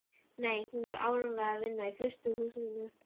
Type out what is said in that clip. Nei, hún var áreiðanlega að vinna í frystihúsinu.